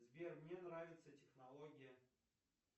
сбер мне нравится технология